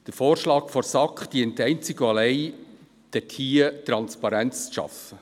Der Vorschlag der SAK dient einzig und allein dazu, Transparenz zu schaffen.